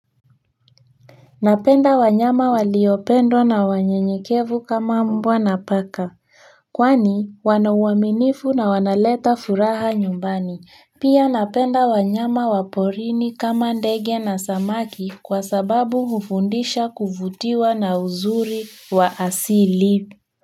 Napenda wanyama waliopendwa na wanyenyekevu kama mbwa na paka. Kwani wana uaminifu na wanaleta furaha nyumbani. Pia napenda wanyama wa porini kama ndege na samaki kwa sababu hufundisha kuvutiwa na uzuri wa asili.